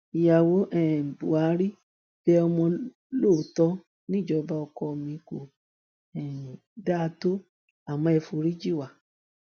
ìyàwó um buhari bẹ ọmọ lóòótọ níjọba ọkọ mi kò um dáa tó àmọ ẹ foríjì wa